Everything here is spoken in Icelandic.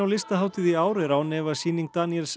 listahátíð í ár er án efa sýning Daniels